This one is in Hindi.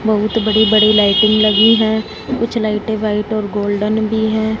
बहुत बड़ी बड़ी लाइटिंग लगी है। कुछ लाइटें व्हाइट ओर गोल्डन भी है।